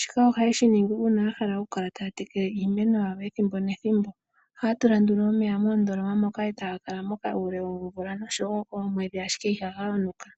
shika ohaye shi ningi uuna ya hala oku kala taya tekele iimeno yawo ethimbo nethimbo. Ohaya tula nduno omeya moondola moka etaga kala moka uule woomvula noomwedhi ashike ihaga yonuka.